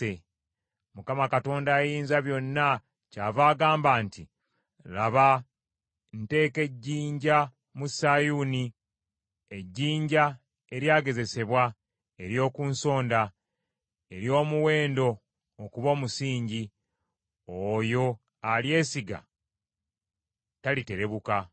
Mukama Katonda Ayinzabyonna kyava agamba nti, “Laba, nteeka mu Sayuuni ejjinja, ejjinja eryagezesebwa, ery’oku nsonda, ery’omuwendo, okuba omusingi; oyo alyesiga taliterebuka.